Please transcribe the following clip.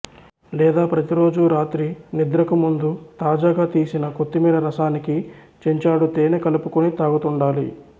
లేదా ప్రతిరోజూ రాత్రి నిద్రకు ముందు తాజాగా తీసిన కొత్తిమీర రసానికి చెంచాడు తేనె కలుపుకొని తాగుతుండాలి